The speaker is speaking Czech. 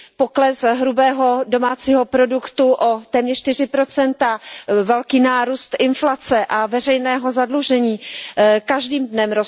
Pokles hrubého domácího produktu je o téměř čtyři procenta, velmi narůstá inflace a veřejné zadlužení roste každým dnem.